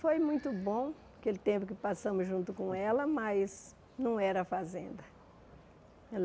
Foi muito bom aquele tempo que passamos junto com ela, mas não era a fazenda.